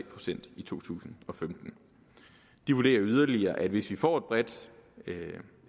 procent i to tusind og femten de vurderer yderligere at tallet hvis vi får et bredt